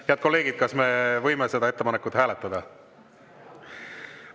Head kolleegid, kas me võime seda ettepanekut hääletada?